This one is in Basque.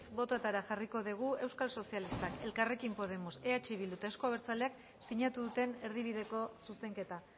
botoetara jarriko dugu eusko sozialistak elkarrekin podemos eh bildu eta euzko abertzaleak sinatu duten erdibideko zuzenketa